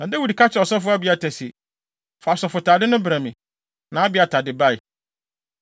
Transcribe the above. Na Dawid ka kyerɛɛ ɔsɔfo Abiatar se, “Fa asɔfotade no brɛ me.” Na Abiatar de bae.